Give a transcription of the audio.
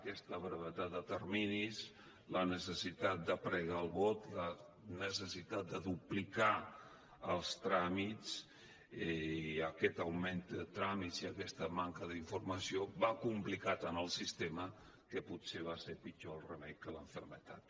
aquesta brevetat de terminis la necessitat de pregar el vot la necessitat de duplicar els tràmits i aquest augment de tràmits i aquesta manca d’informació van complicar tant el sistema que potser va ser pitjor el remei que la malaltia